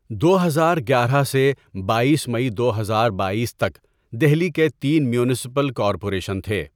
دو ہزار گیارہ سے بایس مئی دو ہزار بایس تک دہلی کے تین میونسپل کارپوریشن تھے.